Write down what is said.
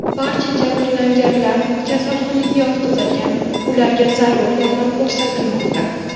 Barcha jabrlanganlar kasalxonaga yotqizilgan, ularga zarur yordam ko‘rsatilmoqda.